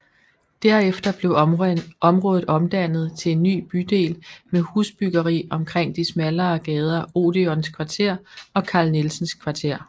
Derefter blev området omdannet til en ny bydel med husbyggeri omkring de smallere gader Odeons Kvarter og Carl Nielsens Kvarter